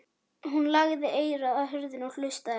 Hún lagði eyrað að hurðinni og hlustaði.